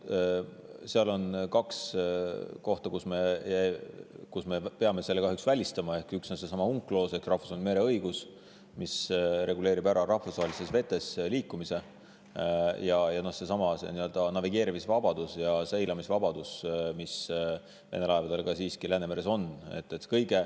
Seal on kaks kohta, kus me peame selle kahjuks välistama: üks on seesama UNCLOS ehk rahvusvaheline mereõigus, mis reguleerib ära rahvusvahelistes vetes liikumise, ja teine on navigeerimis- ja seilamisvabadus, mis laevadel Läänemeres on.